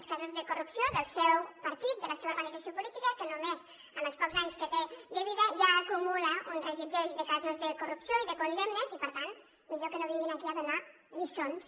els casos de corrupció del seu partit de la seva organització política que només amb els pocs anys que té de vida ja acumula un reguitzell de casos de corrupció i de condemnes i per tant millor que no vinguin aquí a donar lliçons